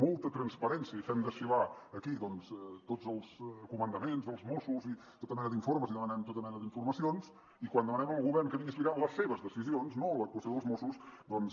molta transparència i fem desfilar aquí tots els comandaments dels mossos i tota mena d’informes i demanem tota mena d’informacions i quan demanem al govern que vingui a explicar les seves decisions no l’actuació dels mossos doncs